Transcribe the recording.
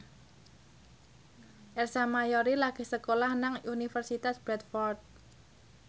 Ersa Mayori lagi sekolah nang Universitas Bradford